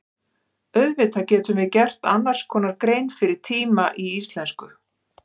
Auðvitað getum við gert annars konar grein fyrir tíma í íslensku.